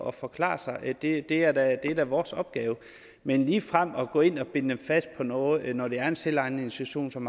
at forklare sig det det er da da vores opgave men ligefrem at gå ind og binde dem fast på noget når det er en selvejende institution som